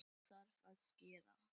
Þá þarf að skera.